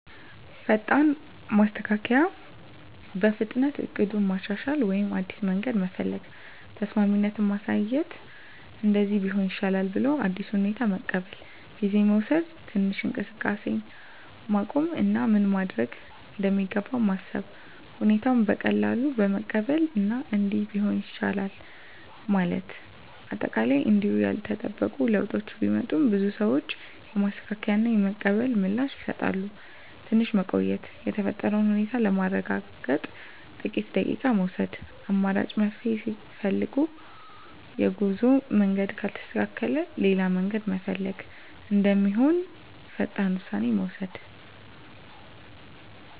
ፈጣን ማስተካከያ – በፍጥነት እቅዱን ማሻሻል ወይም አዲስ መንገድ መፈለግ። ተስማሚነት ማሳየት – “እንደዚህ ቢሆን ይሻላል” ብለው አዲሱን ሁኔታ መቀበል። ጊዜ መውሰድ – ትንሽ እንቅስቃሴን ማቆም እና ምን መደረግ እንደሚገባ ማሰብ። ሁኔታውን በቀላሉ መቀበል እና “እንዲህ ቢሆንም ይቻላል” ማለት። አጠቃላይ እንዲሁ ያልተጠበቁ ለውጦች ቢመጡም፣ ብዙ ሰዎች የማስተካከያ እና የመቀበል ምላሽ ይሰጣሉ። ትንሽ መቆየት – የተፈጠረውን ሁኔታ ለማረጋገጥ ጥቂት ደቂቃ መውሰድ። አማራጭ መፍትሄ ፈልግ – የጉዞ መንገድ ካልተሳካ ሌላ መንገድ መፈለግ እንደሚሆን ፈጣን ውሳኔ መውሰድ።